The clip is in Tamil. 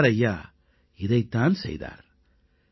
சர்தார் ஐயா இதைத் தான் செய்தார்